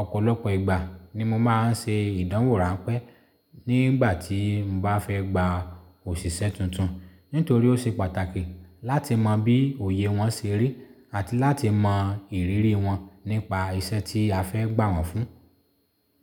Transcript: Ọ̀pọ̀lọpọ̀ ìgbà ni mo máa ń ṣe ìdánwò ránpẹ́ nígbà tí mo bá fẹ́ gba òṣìṣẹ́ tuntun, nítorí ó ṣe pàtàkì láti mọ bí òye wọn ṣe rí àti láti mọ ìrírí wọn nípa iṣẹ́ tí a fẹ́ gbà wọ́n fún.